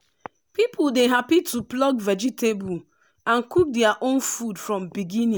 people dey happy to pluck vegetable and cook their own food from beginning.